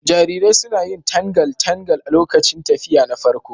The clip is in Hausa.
Jarirai suna yin tangal tangal lokacin tafiya na farko.